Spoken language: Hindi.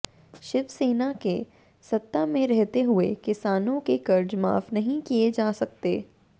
शिवसेना के सत्ता में रहते हुए किसानों के कर्ज माफ नहीं किए जा सकते